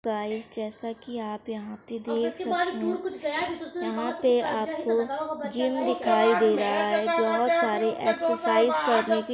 Guys जैसे कि आप यहां पे देख सकते हैं। यहां पे आपको जिम दिखाई दे रहा है। बोहोत सारी एक्सेर्साइज़ करने के --